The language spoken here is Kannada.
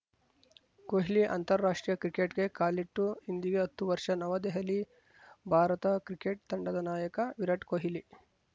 ಕೊಹ್ಲಿ ಅಂತರ್ರಾಷ್ಟ್ರೀಯಕ್ರಿಕೆಟ್‌ಗೆ ಕಾಲಿಟ್ಟು ಇಂದಿಗೆ ಹತ್ತು ವರ್ಷ ನವದೆಹಲಿ ಭಾರತ ಕ್ರಿಕೆಟ್‌ ತಂಡದ ನಾಯಕ ವಿರಾಟ್‌ ಕೊಹ್ಲಿ